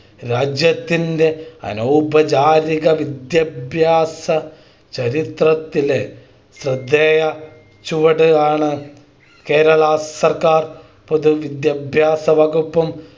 രാജ്യത്തിൻ്റെ അനൗപചാരിക വിദ്യാഭ്യാസ ചരിത്രത്തിലെ ശ്രദ്ധേയ ചുവട് ആണ് കേരളാ സർക്കാർ പൊതുവിദ്യാഭ്യാസ വകുപ്പും